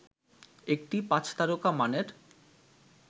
একটি পাঁচতারকা মানের